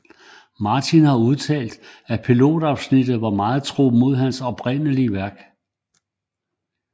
Martin har udtalt at pilotafsnittet var meget tro mod hans oprindelige værk